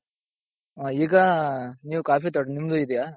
ಹ ಈಗ ನೀವ್ coffee ತೋಟ ನಿಮ್ಮದು ಇದ್ಯ.